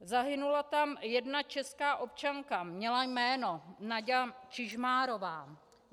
Zahynula tam jedna česká občanka, měla jméno Naďa Čižmárová.